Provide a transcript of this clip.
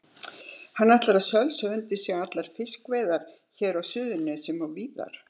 Hann ætlar að sölsa undir sig allar fiskveiðar hér á Suðurnesjum og víðar.